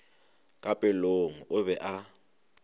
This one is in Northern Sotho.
ka pelong o be a